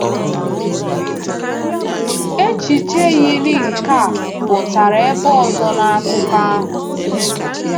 Echiche yiri nke a pụtara ebe ọzọ n’akụkọ ahụ.